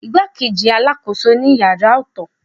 Igbakeji alakoso ni ìyára ọtọtọ.